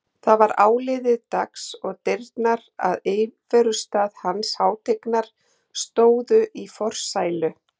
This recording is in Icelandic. Það var áliðið dags og dyrnar að íverustað hans hátignar stóðu í forsælu.